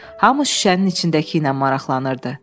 Hamı şüşənin içindəki ilə maraqlanırdı.